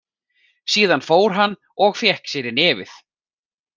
Síðan fór hann og fékk sér í nefið.